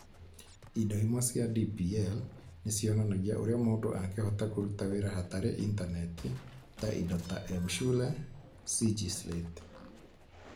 Indo imwe cia DPL nĩ cionanagia ũrĩa mũndũ angĩhota kũruta wĩra hatarĩ Intaneti, ta indo ta M-Shule, CG Slate.